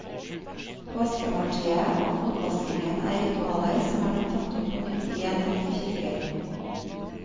Påskemåltidet og fotvaskingen er ritualer som er blitt tatt opp på nytt i en rekke kirker.